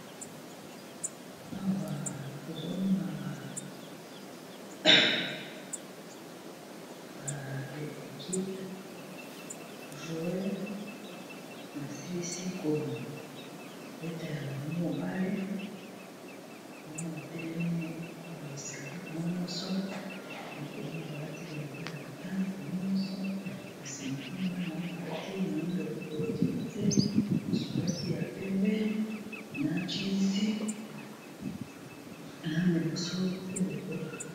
awa tozomona baekipe ba jueur basilisi kobeta ya bango bale bamo batelemi na ba esikale bamo nyonso mokomoya balaki bilamba ya botane bamo nyonso na nsima mpuna ya na oyo alati moindo likolo tina se mosu alati ya pembe na jinsi na iboso pe lokola